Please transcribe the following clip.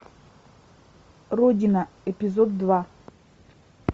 родина эпизод два